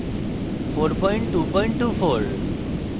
এবং gnu bash সংস্করণ 4224